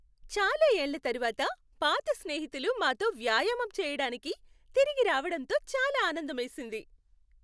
చాలా ఏళ్ళ తరువాత పాత స్నేహితులు మాతో వ్యాయామం చేయడానికి తిరిగి రావడంతో చాలా ఆనందమేసింది.